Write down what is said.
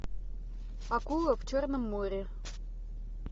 акула в черном море